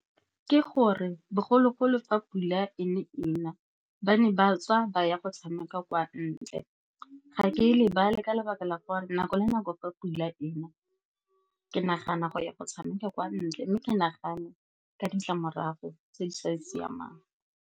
Ke gore, bogologolo fa pula e ne e na, ba ne ba tswa ba ya go tshameka kwa ntle. Ga ke lebale, ka ntlha ya gore nako le nako fa pula ena ke nagana go ya go tshameka kwa ntle, mme ke nagana ka ditlamorago tse di sa siamang.